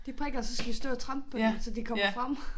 De prikker og så skal vi stå og trampe på dem så de kommer frem